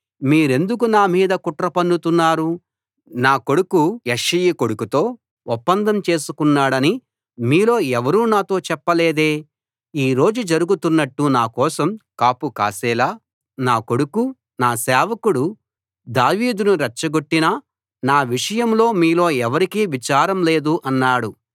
మీరెందుకు నా మీద కుట్ర పన్నుతున్నారు నా కొడుకు యెష్షయి కొడుకుతో ఒప్పందం చేసుకున్నాడని మీలో ఎవరూ నాతో చెప్పలేదే ఈ రోజు జరుగుతున్నట్టు నా కోసం కాపు కాసేలా నా కొడుకు నా సేవకుడు దావీదును రెచ్చగొట్టినా నా విషయంలో మీలో ఎవరికీ విచారం లేదు అన్నాడు